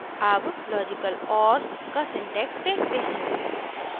अब logical or का syntax देखते हैं